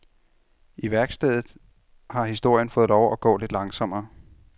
I værkstedet har historien fået lov at gå lidt langsommere.